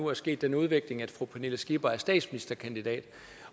er sket den udvikling at fru pernille skipper nu er statsministerkandidat